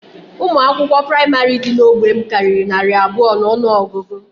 Ụmụ akwụkwọ praịmarị dị n'ógbè m karịrị narị abụọ n'ọnụọgụgụ